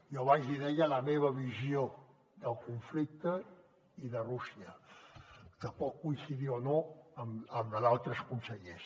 jo abans li deia la meva visió del conflicte i de rússia que pot coincidir o no amb la d’altres consellers